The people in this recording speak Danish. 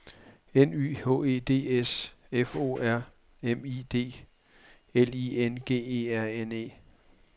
N Y H E D S F O R M I D L I N G E R N E